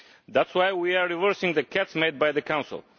That is why we are reversing the cuts made by the Council.